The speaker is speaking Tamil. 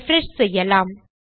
ரிஃப்ரெஷ் செய்யலாம்